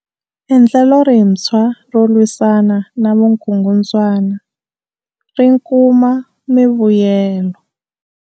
Endlelo rintshwa ro lwisana na vukungundzwana ri kuma mivuyelo.